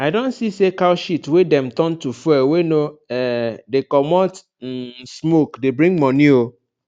i don see say cow shit wey dem turn to fuel wey no um dey comot um smoke dey bring money o